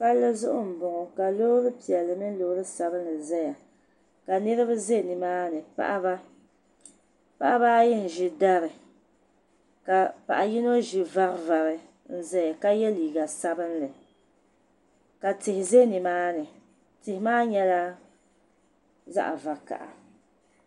Palli zuɣu n bɔŋɔ, ka lɔɔri piɛli mini lɔɔri sabinli zaya kanirib za nimaani paɣaba ,paɣiba ayi n ʒi dari ka paɣi yinɔ ʒi vari vari n zaya ka ye liiga sabinli, ka tihi za nimaani, tihi maa nyɛla zaɣi vakaha.